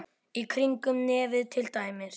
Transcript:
Í kringum nefið til dæmis.